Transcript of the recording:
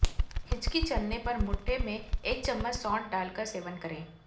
हिचकी चलने पर मठ्ठे में एक चम्मच सौंठ डालकर सेवन करें